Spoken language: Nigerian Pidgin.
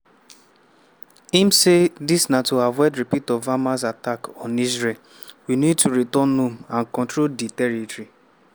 im say dis na to avoid repeat of hamas attack on israel “we need to return home and control di territory